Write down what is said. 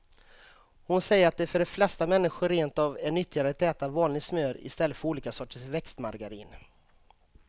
Hon säger att det för de flesta människor rent av är nyttigare att äta vanligt smör i stället för olika sorters växtmargarin.